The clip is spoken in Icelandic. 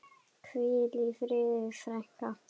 Hvíl í friði, frænka.